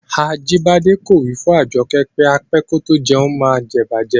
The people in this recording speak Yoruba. Ajibike ko wi fun Ajoke pe á pẹ kò tó jẹ̀un maá ǹ jẹ̀ ìbàjẹ́.